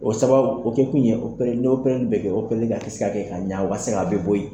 O sababu o kɛ kun ye opereli bɛɛ kɛ opereli ka se ka kɛ ka ɲa o ka se a bɛɛ bɔ yen